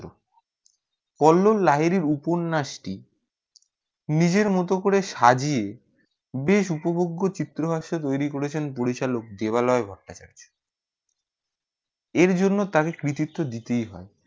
কল্লো লাইরি উপন্যাস টি নিজে মতো করে সাজিয়ে বেশ উপভোগ চিত্রহাসে তয়রি করে চেন পরিচালক দেবালয় ভট্রাচার্য এর জন্য তাকে কৃতিত্ব দিতে ই হয়ে